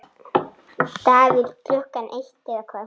Davíð Klukkan eitt eða hvað?